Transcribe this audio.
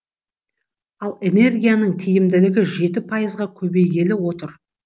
ал энергияның тиімділігі жеті пайызға көбейгелі отыр